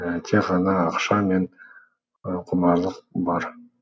тек ғана ақша мен құмарлық бар